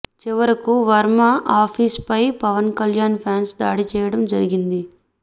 చివరకు వర్మ ఆఫీస్ పై పవన్ కళ్యాణ్ ఫ్యాన్స్ దాడి చేయడం జరిగింది